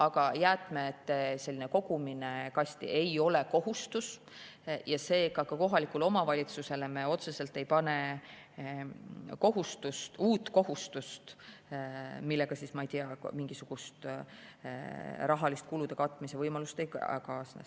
Aga jäätmete kogumine kasti ei ole kohustus ja seega ka kohalikule omavalitsusele me otseselt ei pane uut kohustust, millega, ma ei tea, mingisugust kulude katmise võimalust ei kaasne.